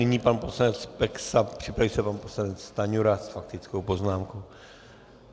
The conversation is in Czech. Nyní pan poslanec Peksa, připraví se pan poslanec Stanjura s faktickou poznámkou.